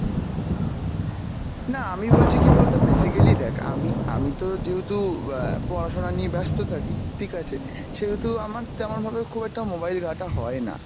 না আমি বলছি কী বলতো basically দ্যাখ আমি আমিতো যেহতু অ্যাঁ পড়াশোনা নিয়ে ব্যাস্ত থাকি ঠিক আছে সেহেতু আমার তেমন ভাবে খুব একটা mobile ঘাটা হয়না